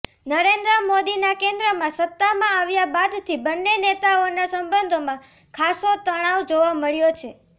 નરેન્દ્ર મોદીના કેન્દ્રમાં સત્તામાં આવ્યા બાદથી બંને નેતાઓના સંબંધોમાં ખાસો તણાવ જોવા મળ્યો છે